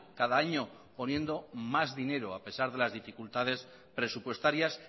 cada año poniendo más dinero a pesar de las dificultades presupuestarias